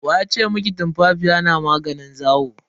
Wa ya ce miki tumfafiya na maganin zawo?